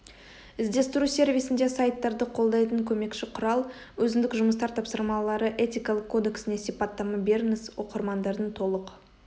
іздестіру сервисінде сайттарды қолдайтын көмекші құрал өзіндік жұмыстар тапсырмалары этикалық кодексіне сипаттама беріңіз оқырмандардың толық